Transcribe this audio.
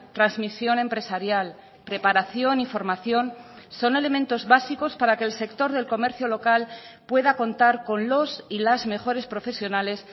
transmisión empresarial preparación y formación son elementos básicos para que el sector del comercio local pueda contar con los y las mejores profesionales